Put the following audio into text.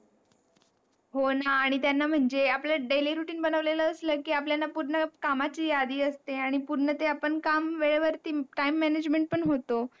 हो ना, आणि त्यांना आपले daily routine बनवलेल असल कि आपल्याला पूर्ण कामची याधी असते, आणि पूर्ण ते काम वेळेवरती Time management पण होतो.